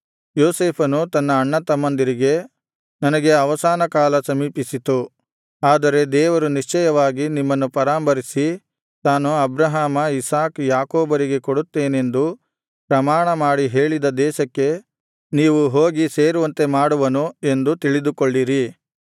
ಯೋಸೇಫನು ತನ್ನ ಅಣ್ಣತಮ್ಮಂದಿರಿಗೆ ನನಗೆ ಅವಸಾನಕಾಲ ಸಮೀಪಿಸಿತು ಆದರೆ ದೇವರು ನಿಶ್ಚಯವಾಗಿ ನಿಮ್ಮನ್ನು ಪರಾಂಬರಿಸಿ ತಾನು ಅಬ್ರಹಾಮ ಇಸಾಕ್ ಯಾಕೋಬರಿಗೆ ಕೊಡುತ್ತೇನೆಂದು ಪ್ರಮಾಣಮಾಡಿ ಹೇಳಿದ ದೇಶಕ್ಕೆ ನೀವು ಹೋಗಿ ಸೇರುವಂತೆ ಮಾಡುವನು ಎಂದು ತಿಳಿದುಕೊಳ್ಳಿರಿ